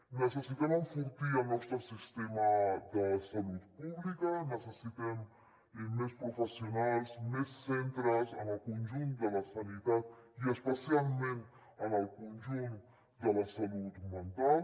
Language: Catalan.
necessitem enfortir el nostre sistema de salut pública necessitem més professionals més centres en el conjunt de la sanitat i especialment en el conjunt de la salut mental